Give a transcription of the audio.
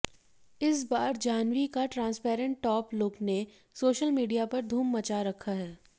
इस बार जाह्नवी का ट्रांसपेरेंट टॉप लुक ने सोशल मीडिया पर धूम मचा रखा हैं